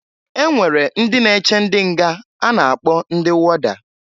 E nwere ndị na-eche ndị nga nche a na-akpọ ndị wọda.